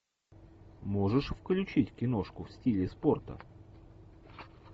можешь включить киношку в стиле спорта